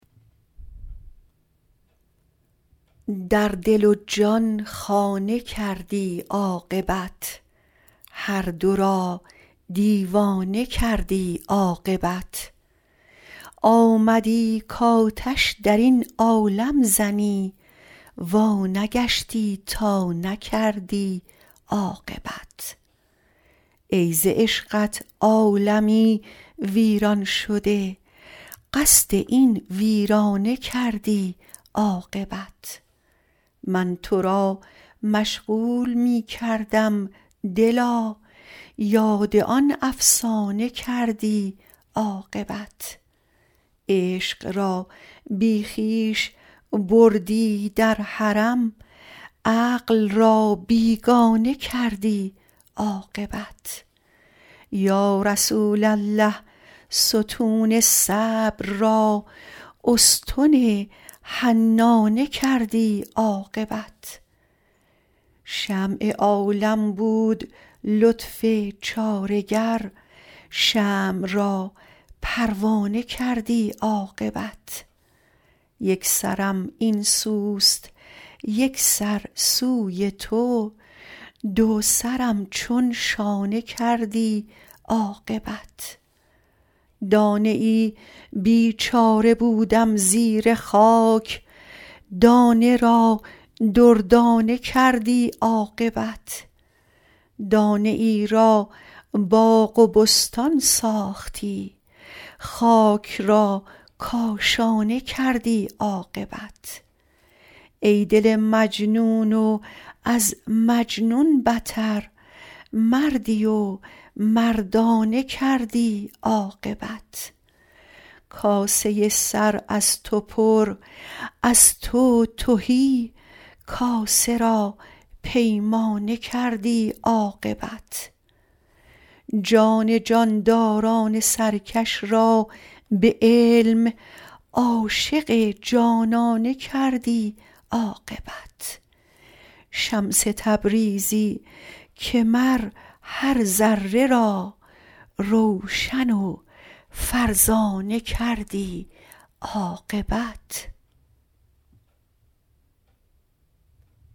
در دل و جان خانه کردی عاقبت هر دو را دیوانه کردی عاقبت آمدی کآتش در این عالم زنی وانگشتی تا نکردی عاقبت ای ز عشقت عالمی ویران شده قصد این ویرانه کردی عاقبت من تو را مشغول می کردم دلا یاد آن افسانه کردی عاقبت عشق را بی خویش بردی در حرم عقل را بیگانه کردی عاقبت یا رسول الله ستون صبر را استن حنانه کردی عاقبت شمع عالم بود لطف چاره گر شمع را پروانه کردی عاقبت یک سرم این سوست یک سر سوی تو دو سرم چون شانه کردی عاقبت دانه ای بیچاره بودم زیر خاک دانه را دردانه کردی عاقبت دانه ای را باغ و بستان ساختی خاک را کاشانه کردی عاقبت ای دل مجنون و از مجنون بتر مردی و مردانه کردی عاقبت کاسه سر از تو پر از تو تهی کاسه را پیمانه کردی عاقبت جان جانداران سرکش را به علم عاشق جانانه کردی عاقبت شمس تبریزی که مر هر ذره را روشن و فرزانه کردی عاقبت